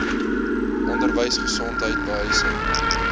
onderwys gesondheid behuising